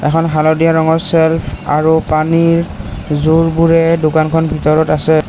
এখন হালধীয়া ৰঙৰ চেলফ আৰু পানীৰ যোৰবোৰে দোকানখন ভিতৰত আছে।